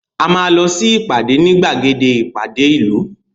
A máa lọ sí ìpàdé ní gbàgede ìpàdé ìlú